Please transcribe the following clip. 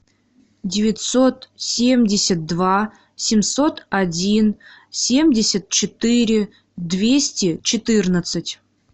девятьсот семьдесят два семьсот один семьдесят четыре двести четырнадцать